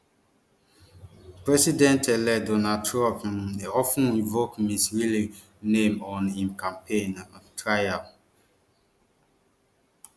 president elect donald trump um of ten invoke ms riley name on im campaign um trail